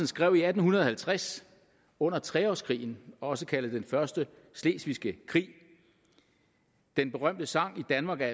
skrev i atten halvtreds under tre årskrigen også kaldet den første slesvigske krig den berømte sang i danmark er